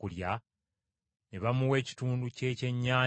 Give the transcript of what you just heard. Ne bamuwa ekitundu ky’ekyennyanja ekyokye,